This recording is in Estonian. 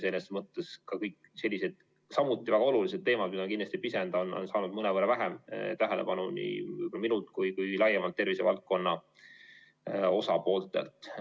Selles mõttes on kõik sellised, samuti väga olulised teemad, mida ma kindlasti ei pisenda, saanud mõnevõrra vähem tähelepanu nii minult kui ka laiemalt tervishoiuvaldkonna osapooltelt.